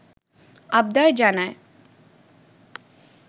আবদার জানায়